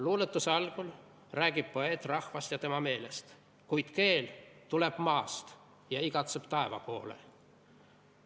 Luuletuse algul räägib poeet rahvast ja tema meelest, kuid keel tuleb maast ja igatseb taeva poole.